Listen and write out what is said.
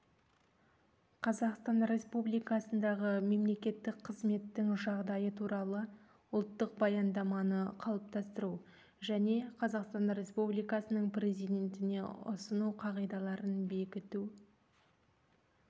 қазақстан республикасындағы мемлекеттік қызметтің жағдайы туралы ұлттық баяндаманы қалыптастыру және қазақстан республикасының президентіне ұсыну қағидаларын бекіту